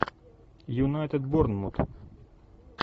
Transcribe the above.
юнайтед борнмут